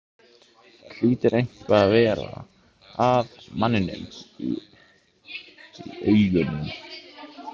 Það hlýtur eitthvað að vera að manninum í augunum.